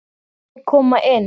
Má ég koma inn?